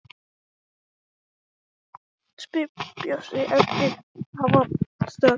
spyr Bjössi eftir að þeir hafa staðið þarna nokkra stund.